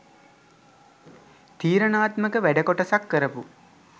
තීරණාත්මක වැඩ කොටසක් කරපු